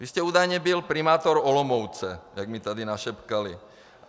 Vy jste údajně byl primátorem Olomouce, jak mi tady našeptali.